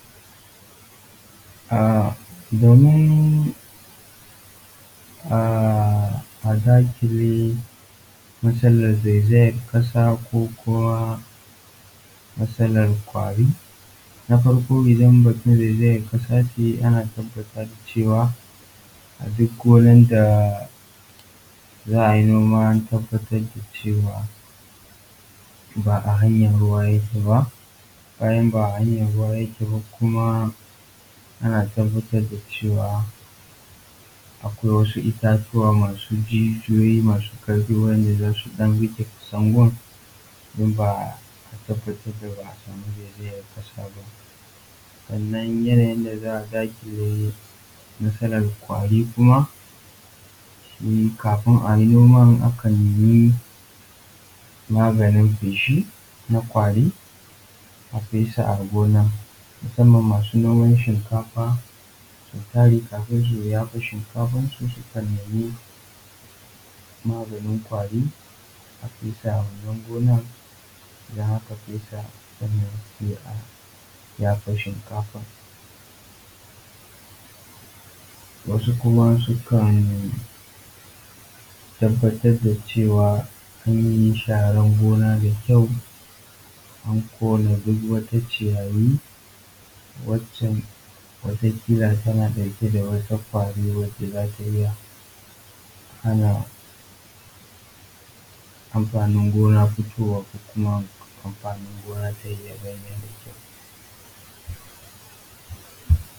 um Domin a zahiri matsalan um zaizayar ƙasa ko kuma matsalan ƙwari na farko idan mutun ya tabbatar cewa a duk wurin da za a yi noma a tabbatar da cewa ba a hanyan ruwa yake ba, bayan ba a hayan ruwa yake ba kuma ana tabbatar da cewa akwai wasu itatuwa masu jijuyoyi masu ƙarfi wanda za su ɗan riƙe ƙasan gun don a tabbatar ba a samu zaizayan ƙasa ba. Sannan yanayin da za a daƙile matsalan ƙwari kuma kafin a yi noman akan yi maganin feshi na ƙwarin a fesa a gonar musanman masu noman shinkafa. Misali kafin su yafa shinkafan sukan nemi maganin ƙwari su fesa a wannan gonar, idan aka fesa sannan sai a yafa shinkafan. Wasu kuma sukan tabbatar da cewa an yi sharan gona da kyau an kora duk wani ciyayi wacca wata ƙilla tana ɗauke da wata ƙwari wanda za ta iya hana amfanin gona fitowa ko kuma amfanin gona yayi kyau.